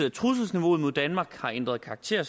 at trusselsniveauet mod danmark har ændret karakter er